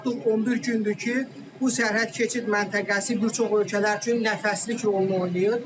Artıq 11 gündür ki, bu sərhəd keçid məntəqəsi bir çox ölkələr üçün nəfəslik rolunu oynayır.